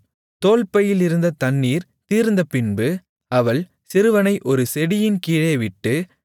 தோல்பையிலிருந்த தண்ணீர் தீர்ந்தபின்பு அவள் சிறுவனை ஒரு செடியின் கீழே விட்டு